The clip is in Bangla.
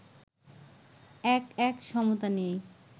১-১ সমতা নিয়েই